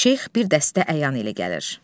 Şeyx bir dəstə əyan ilə gələr.